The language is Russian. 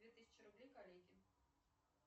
две тысячи рублей коллеге